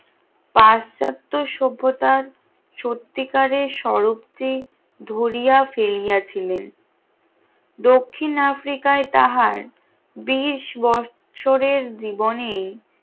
পাশ্চাত্য সভ্যতার সত্তিকারের স্বরূপ যে ধরিয়া ফেলিয়াছিলেন দক্ষিণ আফ্রিকায় তাহার কুড়ি বছরের জীবনে